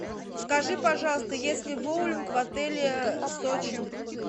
скажи пожалуйста есть ли боулинг в отеле сочи